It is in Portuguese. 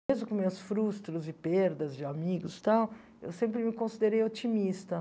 Mesmo com meus frustros e perdas de amigos e tal, eu sempre me considerei otimista.